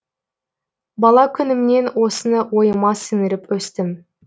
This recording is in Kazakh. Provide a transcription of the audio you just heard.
бала күнімнен осыны ойыма сіңіріп өстім